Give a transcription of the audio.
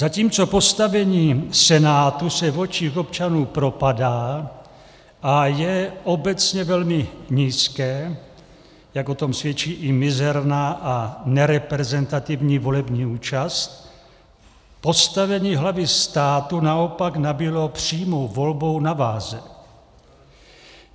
Zatímco postavení Senátu se v očích občanů propadá a je obecně velmi nízké, jak o tom svědčí i mizerná a nereprezentativní volební účast, postavení hlavy státu naopak nabylo přímou volbou na váze.